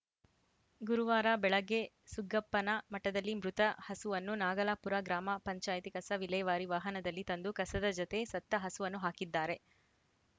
ಗುರುವಾರ ಬೆಳಗ್ಗೆ ಸುಗ್ಗಪ್ಪನ ಮಠದಲ್ಲಿ ಮೃತ ಹಸುವನ್ನು ನಾಗಲಾಪುರ ಗ್ರಾಮ ಪಂಚಾಯತಿ ಕಸ ವಿಲೇವಾರಿ ವಾಹನದಲ್ಲಿ ತಂದು ಕಸದ ಜತೆ ಸತ್ತ ಹಸುವನ್ನು ಹಾಕಿದ್ದಾರೆ